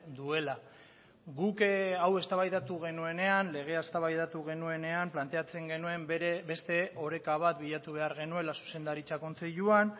duela guk hau eztabaidatu genuenean legea eztabaidatu genuenean planteatzen genuen beste oreka bat bilatu behar genuela zuzendaritza kontseiluan